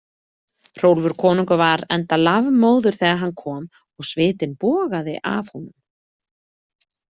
Hrólfur konungur var enda lafmóður þegar hann kom og svitinn bogaði af honum.